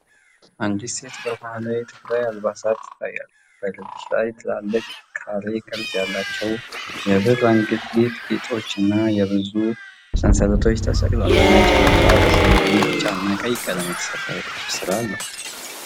አንዲት ሴት በባህላዊ የትግራይ አልባሳት ትታያለች። በደረት ላይ ትላልቅ፣ ካሬ ቅርጽ ያላቸው የብር አንገትጌ ጌጣጌጦችና ብዙ የብር ሰንሰለቶች ተሰቅለዋል። ነጭ ልብሷ በሰማያዊ፣ ቢጫ እና ቀይ ቀለም የተሠራ የጥልፍ ሥራ አለው።